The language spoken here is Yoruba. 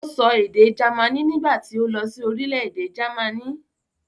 Ó se èdè jamaní nígbà tí ó lọ sí orílẹ̀-èdè jámànì.